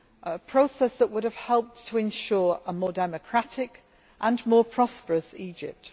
A process that would have helped to ensure a more democratic and more prosperous Egypt.